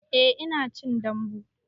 Eh ina cin dambu